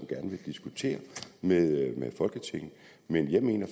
gerne diskutere det med folketinget men jeg mener